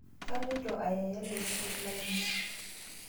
Kaloito ayael laisotok lainie